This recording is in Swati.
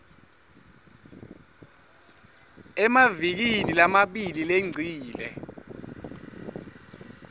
emavikini lamabili lengcile